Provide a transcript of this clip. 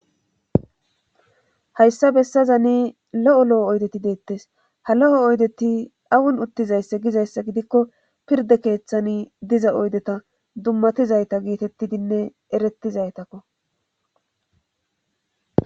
hayssa bessazani lo7o lo7o oydeti deettes ha lo7o oydeti awun uttizayssa gizayssa gidikko pirda keeththani diza oydeta dummatizayta geetettidinne erettizaytakko